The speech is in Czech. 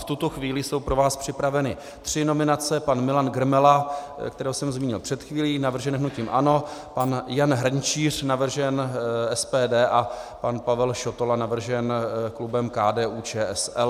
V tuto chvíli jsou pro vás připraveny tři nominace: pan Milan Grmela, kterého jsem zmínil před chvílí, navržen hnutím ANO, pan Jan Hrnčíř, navržen SPD, a pan Pavel Šotola, navržen klubem KDU-ČSL.